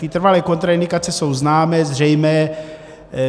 Ty trvalé kontraindikace jsou známé, zřejmé.